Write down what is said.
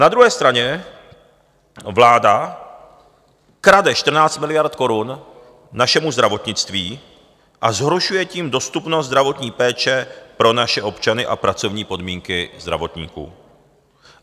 Na druhé straně vláda krade 14 miliard korun našemu zdravotnictví, a zhoršuje tím dostupnost zdravotní péče pro naše občany a pracovní podmínky zdravotníků.